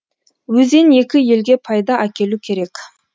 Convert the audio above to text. өзен екі елге пайда әкелу керек